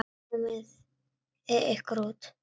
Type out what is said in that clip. Komiði ykkur út.